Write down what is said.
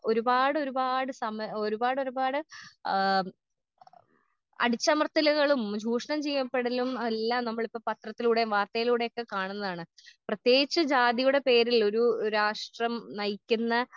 ഒരുപാടൊരുപാട് സം ഒരുപാടൊരുപാട് ആ ആം അടിച്ചമർത്തലുകളും ചൂഷണം ചെയ്യപ്പെടലും എല്ലാം നമ്മളിപ്പൊ പത്രത്തിലൂടേം വർത്തയിലൂടെക്കെ കാണുന്നതാണ് പ്രത്യേകിച്ചും ജാതിയുടെ പേരിലൊരു രാഷ്ട്രം നയിക്കുന്ന.